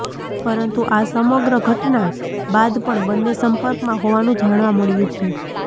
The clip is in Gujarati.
પરંતુ આ સમગ્ર ઘટના બાદ પણ બંન્ને સંપર્કમાં હોવાનું જાણવા મળ્યું છે